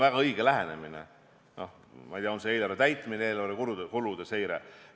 Seda ma igal juhul toetan ja see on minu meelest väga õige lähenemine.